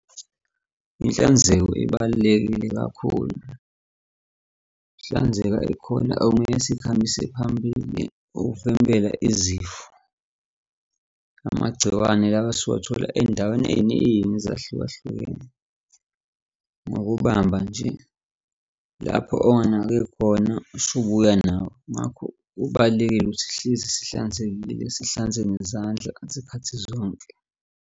Inhlanzeko ibalulekile kakhulu. Ukuhlanzeka ikhona okumele sikuhambise phambili ukuvimbela izifo. Amagciwane lawa esiwathola ey'ndaweni ey'ningi ezahlukahlukene. Ngokubamba nje lapho onganake khona usubuya nawo. Ngakho kubalulekile ukuthi sihlezi sihlanzekile sihlonze nezandla ngezikhathi zonke.